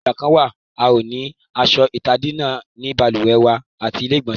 Ìgbà kan la ó ní aṣọ ìtadínà ni balùwẹ́ wa ati ilé ìgbọ̀nsẹ̀